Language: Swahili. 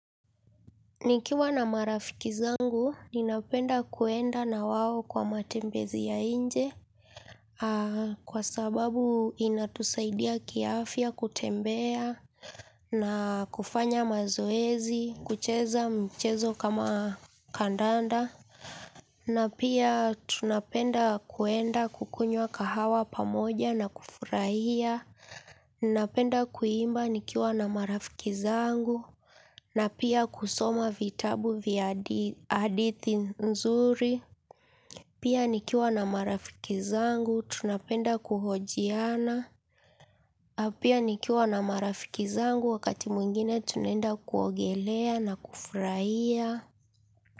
Nikiwa na marafiki zangu, ninapenda kuenda na wao kwa matembezi ya nje, kwa sababu inatusaidia kiafya kutembea, na kufanya mazoezi, kucheza mchezo kama kandanda. Na pia tunapenda kuenda kukunywa kahawa pamoja na kufurahia napenda kuimba nikiwa na marafiki zangu na pia kusoma vitabu vya adithi nzuri pia nikiwa na marafiki zangu tunapenda kuhojiana pia nikiwa na marafiki zangu wakati mwingine tunaenda kuogelea na kufurahia.